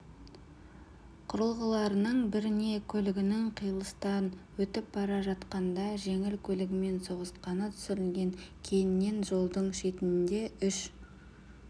құрылғыларының біріне көлігінің қиылыстан өтіп бара жатқанда жеңіл көлігімен соғысқаны түсірілген кейіннен жолдың шетінде үш